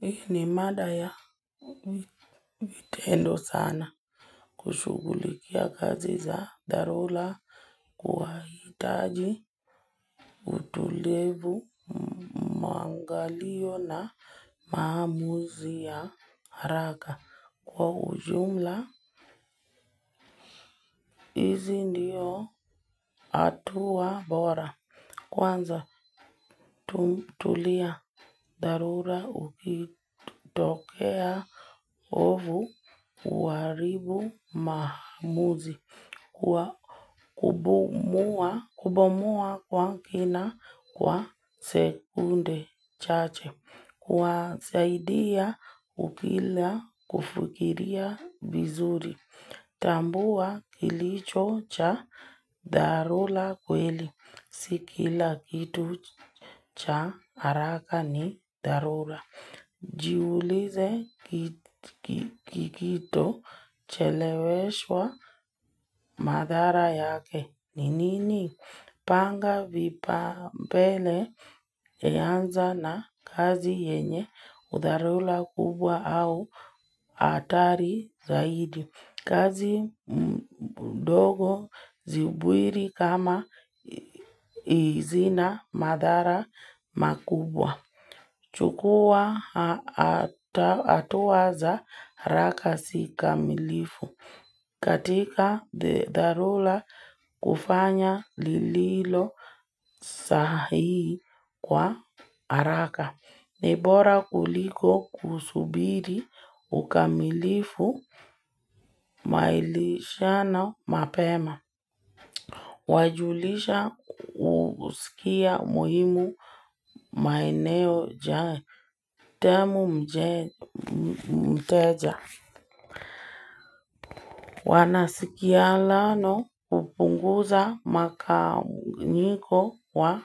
Hii ni mada ya mitendo sana kushughulikia gazi za dharula kuahitaji utulivu maangalio na maamuzi ya haraka kwa ujumla. Izi ndio atua bora. Kwanza, tumtulia. Dharura ukitokea ovu uaribu maamuzi. Kwa kubomoa kwa kina kwa sekunde chache. Kwa saidia ukila kufikiria vizuri. Tambua kilicho cha darula kweli. Sikila kitu cha haraka ni darula. Jiulize kikito cheleweshwa madhara yake. Ni nini? Panga vipaombele anza na kazi yenye udharula kubwa au hatari zaidi. Kazi mdogo zibwiri kama izina madhara makubwa. Chukua hatua za haraka zikamilifu. Katika dharula kufanya lililo sahihi kwa haraka. Ni bora kuliko kusubiri ukamilifu malishana mapema. Wajulisha usikia muhimu maeneo jane. Tamu mteja. Wanasikiano kupunguza makanyiko wa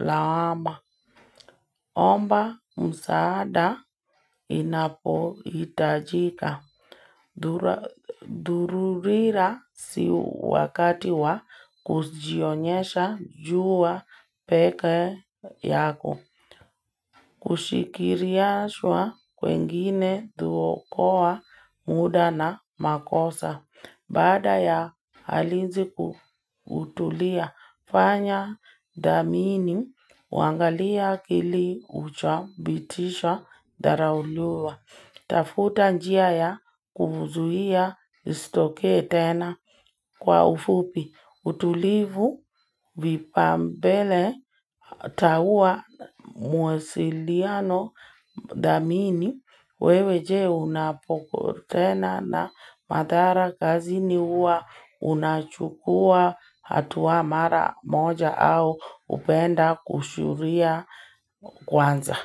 lawama. Omba msaada inapo itajika. Dururira si wakati wa kujionyesha juwa peke yako Kushikiriaswa kwengini duokoa muda na makosa Baada ya halizi kutulia fanya damini wangalia kili uchabitisha dharaulua tafuta njia ya kufuzuhia istokee tena kwa ufupi utulivu vipambele taua muasiliano damini wewe je unapoko tena na madhara kazini uwa unachukua hatua mara moja au upenda kushuria kwanza.